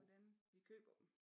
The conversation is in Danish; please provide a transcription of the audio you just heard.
Hvordan vi køber dem